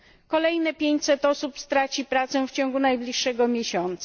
Kolejne 500 osób straci pracę w ciągu najbliższego miesiąca.